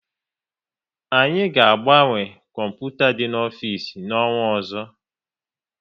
Anyị ga agbanwe kọmputa dị n'ofisi na-onwa ọzọ